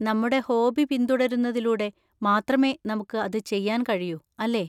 നമ്മുടെ ഹോബി പിന്തുടരുന്നതിലൂടെ മാത്രമേ നമുക്ക് അത് ചെയ്യാൻ കഴിയൂ, അല്ലേ?